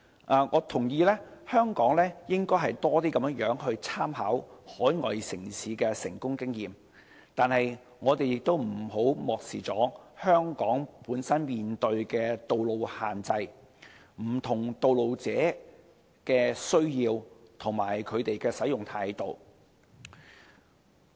我認同香港應多參考海外城市的成功經驗，但我們亦不應漠視香港本身面對的道路限制、不同道路使用者的需要及他們的使用態度。